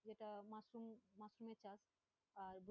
যেটা mushroom mushroom চাষ, আর